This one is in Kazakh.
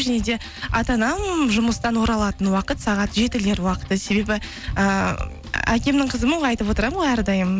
және де ата анам жұмыстан оралатын уақыт сағат жетілер уақыты себебі ыыы әкемнің қызымын ғой айтып отырамын ғой әрдайым